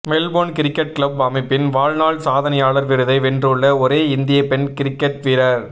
Marylebone cricket club அமைப்பின் வாழ்நாள் சாதனையாளர் விருதை வென்றுள்ள ஒரே இந்திய பெண் கிரிக்கெட் வீரர்